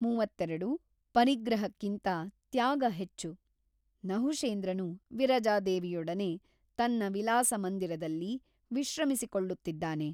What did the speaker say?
ಮೂವತ್ತೆರಡು ಪರಿಗ್ರಹಕ್ಕಿಂತ ತ್ಯಾಗ ಹೆಚ್ಚು ನಹುಷೇಂದ್ರನು ವಿರಜಾದೇವಿಯೊಡನೆ ತನ್ನ ವಿಲಾಸಮಂದಿರದಲ್ಲಿ ವಿಶ್ರಮಿಸಿ ಕೊಳ್ಳುತ್ತಿದ್ದಾನೆ.